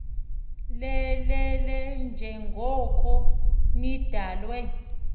lelele njengoko nidalwe